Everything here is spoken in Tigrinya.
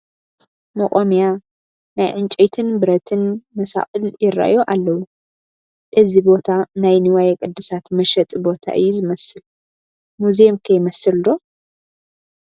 መቋሚያ ናይ ዕንጨይትን ብረትን መሳቕል ይርአዩ ኣለዉ፡፡ እዚ ቦታ ናይ ንዋየ ቅድሳት መሸጢ ቦታ እዩ ዝመስል፡፡ ሙዚየም ከ ይመስል ዶ?